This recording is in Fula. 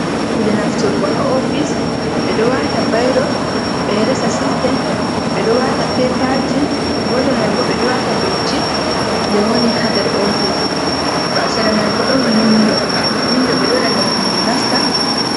Kuje nafturgo ha ofis ɓeɗo wata bairo ɓeɗo resa sistem ɓeɗo wata pepaji, gotel manbo ɓeɗo wata dotti je woni ha ndar ofis bo seraman bo ɗon windo ɓeɗo waɗa windo ngam hendu nasta.